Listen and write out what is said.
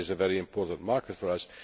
China is a very important market for us.